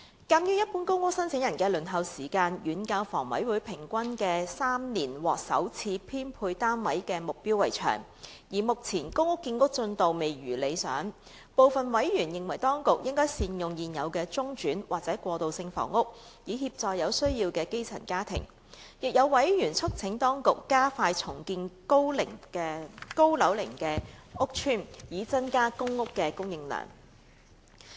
鑒於一般公屋申請人的輪候時間遠較香港房屋委員會平均3年獲首次編配單位的目標為長，而目前公屋建屋進度未如理想，部分委員認為當局應善用現有的中轉或過渡性房屋，以協助有需要的基層家庭，亦有委員促請當局加快重建高樓齡屋邨，以增加公屋的供應量。